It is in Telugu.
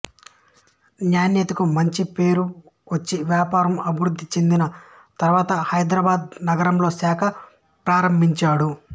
నాణ్యతకు మంచి పేరు వచ్చి వ్యాపారం అభివృద్ధి చెందిన తర్వాత హైదరాబాదు నగరంలో శాఖ ప్రారంభించాడు